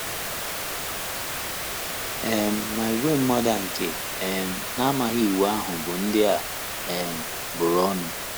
um Ma ìgwè mmadụ a nke um na - amaghị Iwu ahụ bụ ndị a um bụrụ ọnụ. ”